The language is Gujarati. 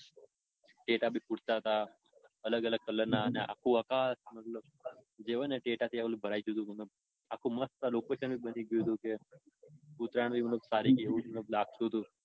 ટેટા બી ફૂટતા તા. અલગ અલગ કલરના અને આખું આકાશ મતલબ જે હોય ને ટેટા થી ભરાઈ ગયું તું. ઉત્તરાયણ સારી ગઈ હોય એવું લાગતું તું.